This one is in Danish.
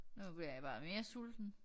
Nu bliver jeg bare mere sulten